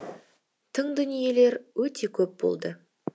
тың дүниелер өте көп болды